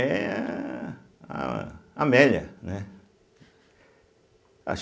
É a Amélia, né. ah